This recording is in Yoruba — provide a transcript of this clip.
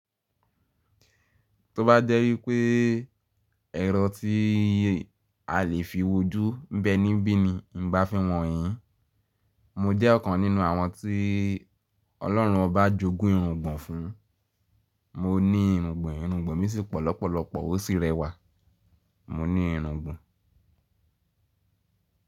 Tó bá jẹ́ wipé ẹ̀ran tí a lè fi wojú ń bẹ níbí ni, ǹ bá fí han yín. Mo jẹ́ ọ̀kan nínú àwọn tí Ọlọ́run ọbá jogún irùngbọ̀n fún. Mo ní irùngbọ̀n, irùngbọ̀n mi sì pọlọ́pọlọ́pọ̀ ó sì rẹwà. Mo ní irùngbọ̀n.